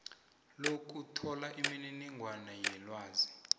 lokuthola imininingwana yelwazi